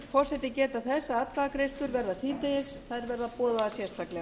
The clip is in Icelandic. forseti geta þess að atkvæðagreiðslur verða síðdegis þær verða boðaðar sérstaklega